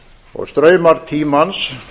og straumar tímans